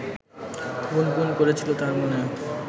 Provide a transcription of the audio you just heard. গুনগুন করেছিল তার মনে